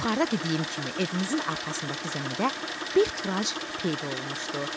Yuxarıda dediyim kimi evimizin arxasındakı zəmidə bir turac peyda olmuşdu.